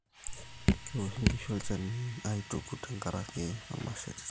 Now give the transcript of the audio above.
kewoshi nkishu olchani aituku tenkarakim olmasheri